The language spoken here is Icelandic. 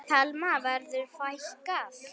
Telma: Verður fækkað?